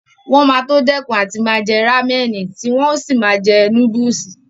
Wọn máa tó dẹ́kun àti máa jẹ rámẹ̀nì tí wọn ó sì máa jẹ núdùsì